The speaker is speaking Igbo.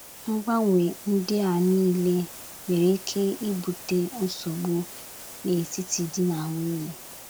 Mgbanwe ndị a niile nwere ike ibute nsogbu n’etiti di na nwunye.